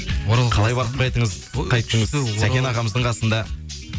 қалай барып қайттыңыз сәкен ағамыздың қасында